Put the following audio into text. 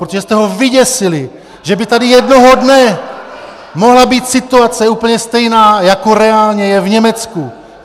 Protože jste ho vyděsili , že by tady jednoho dne mohla být situace úplně stejná, jako reálně je v Německu.